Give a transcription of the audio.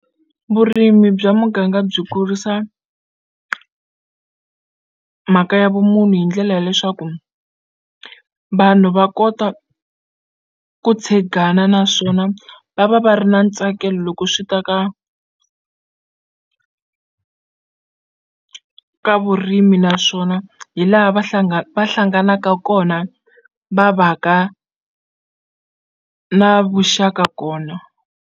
Vurimi bya muganga byi kurisa mhaka ya vumunhu hi ndlela ya leswaku vanhu va kota ku tshegana naswona va va va ri na ntsakelo loko ku swi ta ka ka vurimi naswona hi laha va va hlanganaka kona va va ka na vuxaka kona.